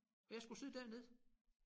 Og jeg skulle sidde dernede